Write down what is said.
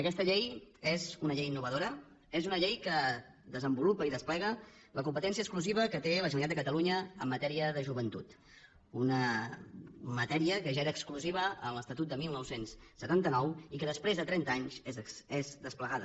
aquesta llei és una llei innovadora és una llei que desenvolupa i desplega la competència exclusiva que té la generalitat de catalunya en matèria de joventut una matèria que ja era exclusiva en l’estatut de dinou setanta nou i que després de trenta anys és desplegada